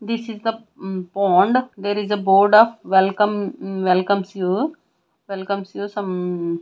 this is the pond there is a board of welcome welcomes you welcomes you some--